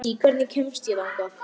Hann fengi þá ráðrúm til að flýja.